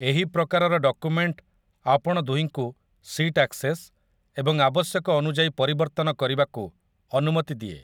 ଏହି ପ୍ରକାରର ଡକୁମେଣ୍ଟ ଆପଣ ଦୁହିଁଙ୍କୁ ସିଟ୍ ଆକ୍ସେସ୍ ଏବଂ ଆବଶ୍ୟକ ଅନୁଯାୟୀ ପରିବର୍ତ୍ତନ କରିବାକୁ ଅନୁମତି ଦିଏ ।